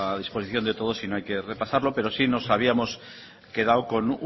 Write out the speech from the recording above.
disposición de todos y no hay que repasarlo pero sí nos habíamos quedado con